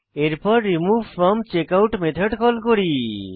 এরপর remove from checkout method call করি